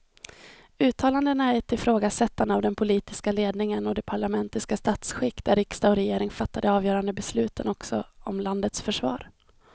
Uttalandena är ett ifrågasättande av den politiska ledningen och det parlamentariska statsskick där riksdag och regering fattar de avgörande besluten också om landets försvar.